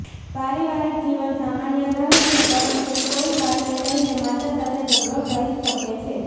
પારિવારિક જીવન સામાન્ય રહશે પરંતુ કોઈ વાતને લઈને માતા સાથે ઝગડો થઈ શકે છે